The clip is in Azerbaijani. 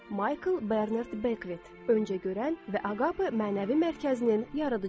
Maykl Bernard Bekvit, öncə görən və Aqape mənəvi mərkəzinin yaradıcısı.